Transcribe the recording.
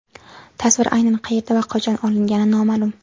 Tasvir aynan qayerda va qachon olingani noma’lum.